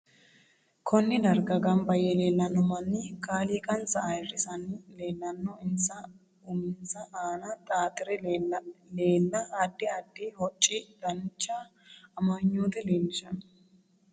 Konne darga ganbba yee leelanno manni kaaliiqansa ayiirisiranni leelanno insa uminsa aana xaatire leela aadi addi hocci dancha amagnoote leelishanno